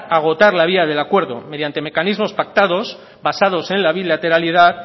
agotar la vía del acuerdo mediante mecanismos pactados basados en la bilateralidad